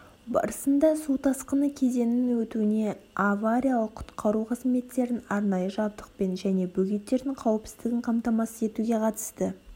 барысында су тасқыны кезеңінің өтуіне авариялық-құтқару қызметтерін арнайы жабдықпен және бөгеттердің қауіпсіздігін қамтамасыз етуге қатысты